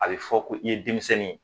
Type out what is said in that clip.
A bɛ fɔ ko i ye denmisɛnnin ye